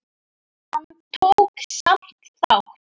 Hann tók samt þátt.